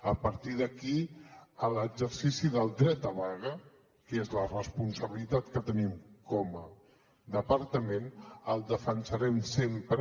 a partir d’aquí l’exercici del dret a vaga que és la responsabilitat que tenim com a departament el defensarem sempre